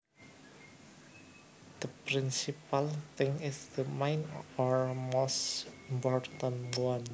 The principal thing is the main or most important one